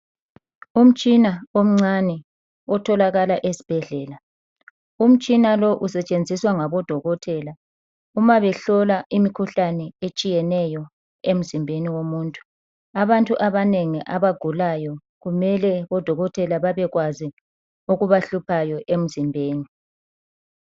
Umtshina omcane otholakala esibhedlela. Umtshina lo usetshenziswa ngabo dokotela uma behlola imikhuhlane etshiyeneyo emzimbeni yomuntu. Abantu abanengi abagulayo kumele odokotela bebekwazi okubahluphayo emzimbeni.